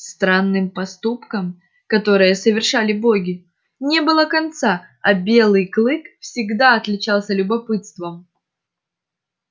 странным поступкам которые совершали боги не было конца а белый клык всегда отличался любопытством